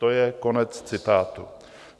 - To je konec citátu.